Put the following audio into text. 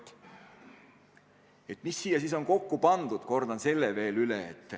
Kordan veel üle, mis siia siis on kokku pandud.